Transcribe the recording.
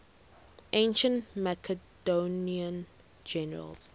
ancient macedonian generals